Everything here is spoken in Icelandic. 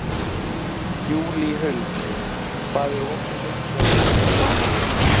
Júlíhuld, hvað er opið lengi á föstudaginn?